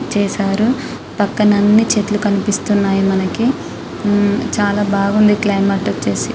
చేసారు పక్కన అన్ని చెట్లు కనిపిస్తున్నాయి మనకి హ్మ్ చాల బాగా ఉంది క్లైమేట్ వచ్చేసి.